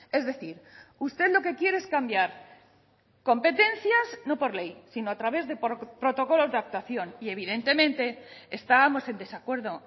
es decir usted lo que quiere es cambiar competencias no por ley sino a través de protocolos de actuación y evidentemente estábamos en desacuerdo